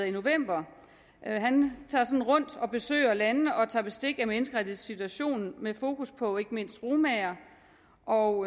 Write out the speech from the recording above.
i november han tager sådan rundt og besøger landene og tager bestik af menneskerettighedssituationen med fokus på ikke mindst romaer og